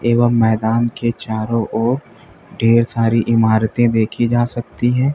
एवं मैदान के चारों ओर ढेर सारी इमारतें देखी जा सकती हैं।